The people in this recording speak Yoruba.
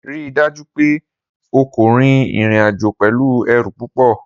Rii daju pe o ko rin irin-ajo pẹlu ẹru pupọ!